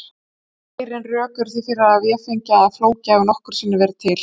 Ærin rök eru því til að véfengja að Flóki hafi nokkru sinni verið til.